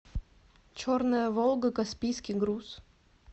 черная волга каспийский груз